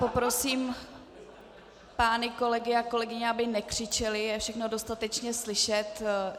Poprosím pány kolegy a kolegyně, aby nekřičeli, je všechno dostatečně slyšet.